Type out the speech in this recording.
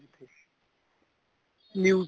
news